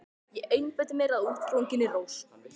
Ég einbeiti mér að útsprunginni rós.